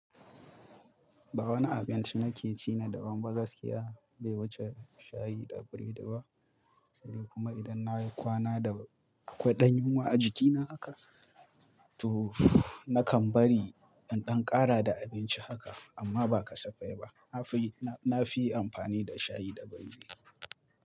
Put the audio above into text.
Ba wani abinci nake ci na daban ba gaskiya, bai wuce shayi da biredi ba. Sai dai kuma idan nayi kwana da akwai ɗan yunwa a jikina haka, to nakan bari in ɗan ƙara da abinci haka amma ba kasafai ba. Nafi, nafi amfani da shayi da biredi.